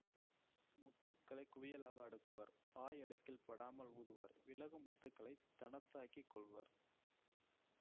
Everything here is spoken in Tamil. முத்துக்களைக் குவியலாக அடுக்குவர் வாய் அடுக்கில் படாமல் ஊதுவர் விலகும் முத்துக்களைத் தனத்தாக்கிக் கொள்வர்